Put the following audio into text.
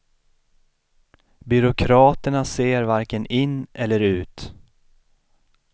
Byråkraterna ser varken in eller ut.